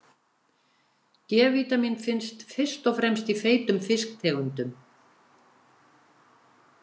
D-vítamín finnst fyrst og fremst í feitum fisktegundum.